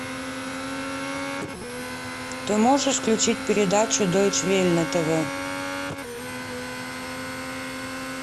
ты можешь включить передачу дойче велле на тв